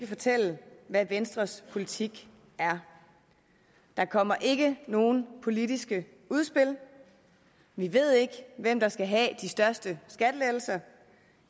fortælle hvad venstres politik er der kommer ikke nogen politiske udspil vi ved ikke hvem der skal have de største skattelettelser